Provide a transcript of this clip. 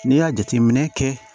N'i y'a jateminɛ kɛ